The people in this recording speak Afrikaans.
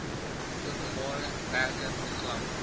openbare werke program